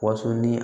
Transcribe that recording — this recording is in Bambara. Wonso ni